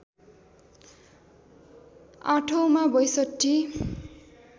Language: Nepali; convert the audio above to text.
आठौँमा ६२